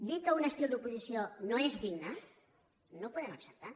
dir que un estil d’oposició no és digne no ho podem acceptar